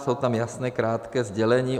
Jsou tam jasná krátká sdělení.